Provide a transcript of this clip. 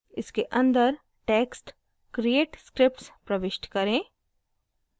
इसके अंदर text create scripts प्रविष्ट करें